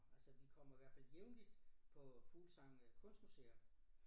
Altså vi kommer hvert fald jævnligt på Fuglsang øh Kunstmuseum